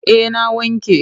Eh na wanke.